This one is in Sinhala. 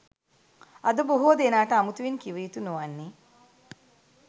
අද බොහෝ දෙනාට අමුතුවෙන් කිව යුතු නොවන්නේ